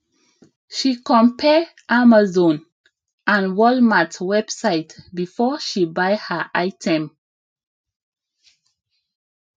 she compare amazon and walmart website before she buy her item